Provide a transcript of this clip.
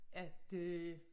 At øh